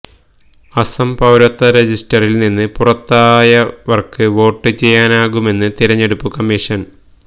അസം പൌരത്വ രജിസ്റ്ററില് നിന്ന് പുറത്തായവര്ക്ക് വോട്ട് ചെയ്യാനാകുമെന്ന് തിരഞ്ഞെടുപ്പ് കമ്മീഷന്